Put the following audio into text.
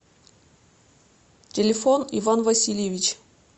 телефон иван васильевич